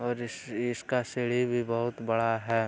और इस इसका सीढ़ी भी बहुत बड़ा है।